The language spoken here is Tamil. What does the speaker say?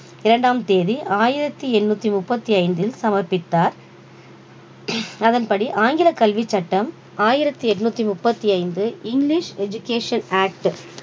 இரண்டாம் தேதி ஆயிரத்தி எண்ணூத்தி முப்பத்தி ஐந்தில் சமர்பித்தார் அதன்படி ஆங்கில கல்வி சட்டம் ஆயிரத்தி எண்ணூத்தி முப்பத்தி ஐந்து english education act